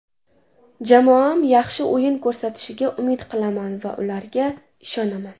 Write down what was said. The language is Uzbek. Jamoam yaxshi o‘yin ko‘rsatishiga umid qilaman va ularga ishonaman.